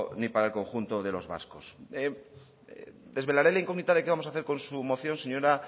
ni para el conjunto de los vascos desvelaré la incógnita de qué vamos a hacer con su moción señora